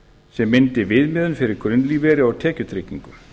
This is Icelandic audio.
sem myndi viðmiðun fyrir grunnlífeyri og tekjutryggingu